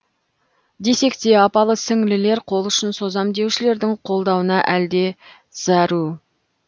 десек те апалы сіңлілер қолұшын созам деушілердің қолдауына әл де зәру